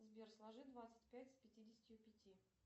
сбер сложи двадцать пять с пятидесятью пяти